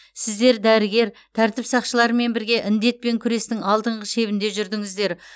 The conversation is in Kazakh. сіздер дәрігер тәртіп сақшыларымен бірге індетпен күрестің алдыңғы шебінде жүрдіңіздер